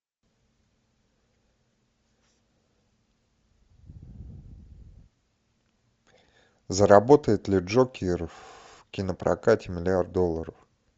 заработает ли джокер в кинопрокате миллиард долларов